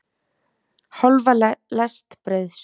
Hálfa lest brauðs.